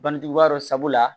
Bangeba dɔ sabula